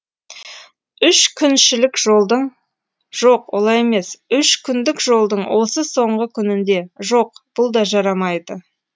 үш күншілік жолдың жоқ олай емес үш күндік жолдың осы соңғы күнінде жоқ бұл да жарамайды